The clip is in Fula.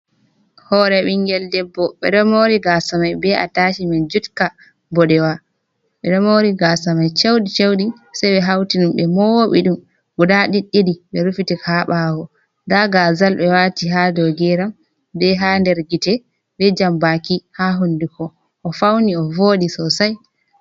Hore bingel debbo ɓe ɗo mori gaasa mai be atashimen jutka mboɗewa, ɓe ɗo mori gaasa mai cheuɗi cheuɗi sei ɓe hauti ɗum ɓe mowɓi ɗum guda ɗiɗɗiɗi ɓe rufiti ka ha ɓawo, da gaazal ɓe wati ha dow geram, be ha nder gite, be jambaki ha hunduko, o fauni o voɗi sosai.